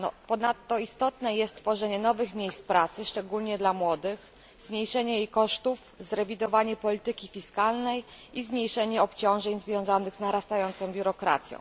Ponadto istotne jest tworzenie nowych miejsc pracy, szczególnie dla młodych, zmniejszenie ich kosztów, zrewidowanie polityki fiskalnej i zmniejszenie obciążeń związanych z narastającą biurokracją.